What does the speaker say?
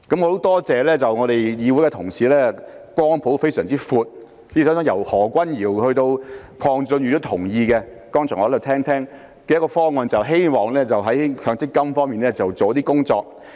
我很感謝議會的同事光譜相當廣闊，我剛才聽到由何君堯議員以至鄺俊宇議員也同意這個方案，就是希望在強積金上下些工夫。